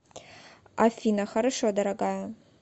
афина хорошо дорогая